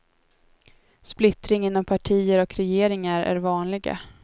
Splittring inom partier och regeringar är vanliga.